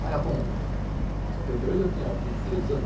Cara com setenta e oito, eu tinha vinte e três anos